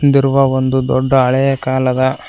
ಬಿದ್ದಿರುವ ಒಂದು ದೊಡ್ಡ ಹಳೆಯ ಕಾಲದ--